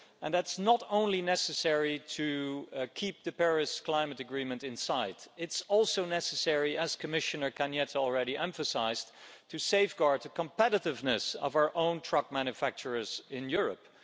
That's not only necessary to keep the Paris Climate Agreement in sight, it's also necessary, as Commissioner Arias Cañete already emphasised, to safeguard the competitiveness of our own truck manufacturers in Europe.